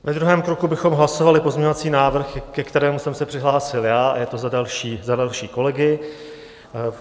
Ve druhém kroku bychom hlasovali pozměňovací návrh, ke kterému jsem se přihlásil já, a je to za další kolegy.